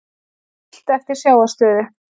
Siglt eftir sjávarstöðu